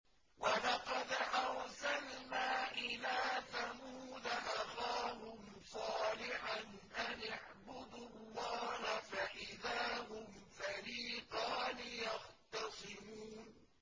وَلَقَدْ أَرْسَلْنَا إِلَىٰ ثَمُودَ أَخَاهُمْ صَالِحًا أَنِ اعْبُدُوا اللَّهَ فَإِذَا هُمْ فَرِيقَانِ يَخْتَصِمُونَ